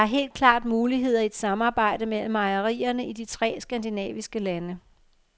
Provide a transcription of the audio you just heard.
Der er helt klart muligheder i et samarbejde mellem mejerierne i de tre skandinaviske lande.